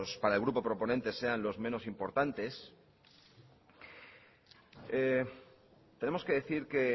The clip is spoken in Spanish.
para el grupo proponente sean los menos importantes tenemos que decir que